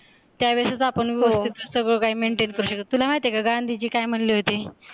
त्यावेळेस ही आपण सगळं काय maintain करू शकते, तुला माहित आहे का गांधीजी काय म्हणत होते?